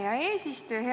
Hea eesistuja!